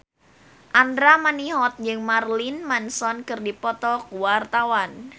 Andra Manihot jeung Marilyn Manson keur dipoto ku wartawan